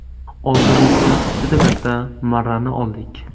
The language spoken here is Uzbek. Oldimizga juda katta marrani oldik.